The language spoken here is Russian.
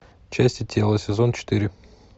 части тела сезон четыре